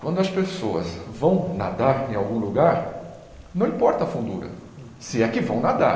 Quando as pessoas vão nadar em algum lugar, não importa a fundura, se é que vão nadar.